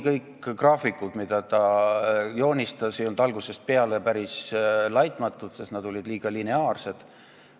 Kõik graafikud, mida Rooma Klubi joonistas, ei olnud algusest peale päris laitmatud, sest nad olid liiga lineaarsed.